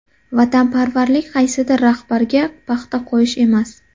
Vatanparvarlik qaysidir rahbarga paxta qo‘yish emas.